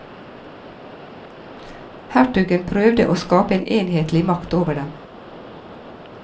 Hertugen prøvde å skape en enhetlig makt over dem.